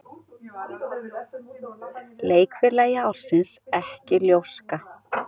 Leikfélagi ársins ekki ljóska